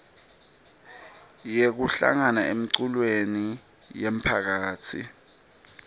yekuhlangana emiculweni yemphakatsi